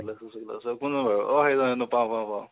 শুক্লেস্বৰ শুক্লেস্বৰ কোন বাৰু, অ সেইজন, পাওঁ পাওঁ